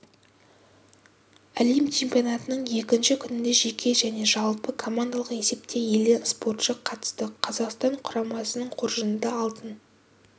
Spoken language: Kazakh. әлем чемпионатының екінші күнінде жеке және жалпы командалық есепте елден спортшы қатысты қазақстан құрамасының қоржынында алтын